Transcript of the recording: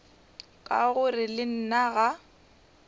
ka gore le nna ga